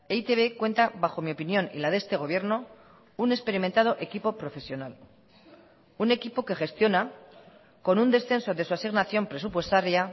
e i te be cuenta bajo mi opinión y la de este gobierno un experimentado equipo profesional un equipo que gestiona con un descenso de su asignación presupuestaria